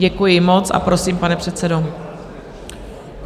Děkuji moc a prosím, pane předsedo.